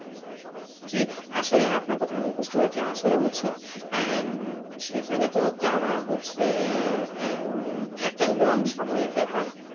জি আসলে আপনার কথা আমি বুঝতে পারছি আসলে হচ্ছে আহ উম সেখানে তো আর যাওয়া হচ্ছে আহ আহ উহ একটা long সময়ের ব্যাপার